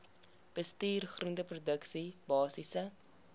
bestuur groenteproduksie basiese